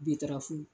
Bitarafu